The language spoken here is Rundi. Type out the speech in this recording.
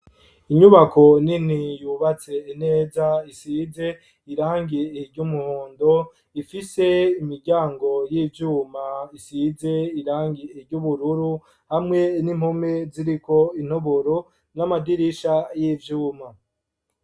Inyubako ninti yubatse ineza isize irangiye iryo umuhondo ifise imiryango y'ivyuma isize irangiye iryo ubururu hamwe n'impome ziriko intoburo n'amadirisha y'ivyuma.